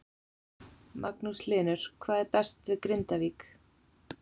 Magnús Hlynur: Hvað er best við Grindavík?